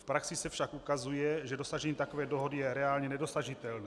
V praxi se však ukazuje, že dosažení takové dohody je reálně nedosažitelné.